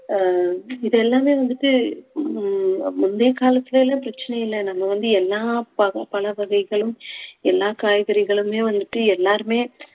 ஆஹ் இது எல்லாமே வந்துட்டு மு~ முந்தைய காலத்துல எல்லாம் பிரச்சனை இல்ல நம்ம வந்து எல்லா பக~ பழ வகைகளும் எல்லா காய்கறிகளுமே வந்துட்டு எல்லாருமே